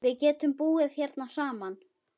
Við getum búið hérna saman.